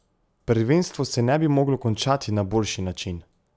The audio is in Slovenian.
Prvenstvo se ne bi moglo končati na boljši način.